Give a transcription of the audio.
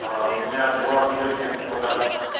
а у меня два строительных чемодана